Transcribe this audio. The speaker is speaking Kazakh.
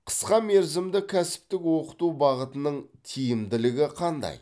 қысқа мерзімді кәсіптік оқыту бағытының тиімділігі қандай